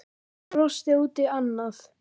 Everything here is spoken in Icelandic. Hann brosti út í annað.